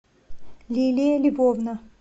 лилия львовна